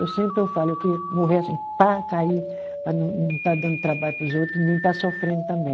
Eu sempre eu falo, eu queria morrer assim, pá, cair, para não não estar dando trabalho para os outros e nem estar sofrendo também.